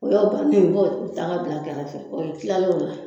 O y'o banni ye i b'o daga bila kɛrɛfɛ o y'o kilalen o la